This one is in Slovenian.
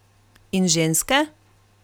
In ženske?